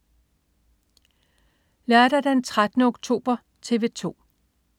Lørdag den 13. oktober - TV 2: